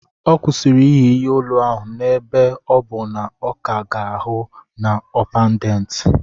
Ọ kwụsịrị iyi ihe olu ahụ ebe ọ bụ na ọ ka ga-ahụ na ọ pendant.